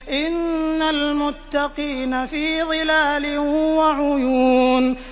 إِنَّ الْمُتَّقِينَ فِي ظِلَالٍ وَعُيُونٍ